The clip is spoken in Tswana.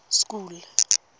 school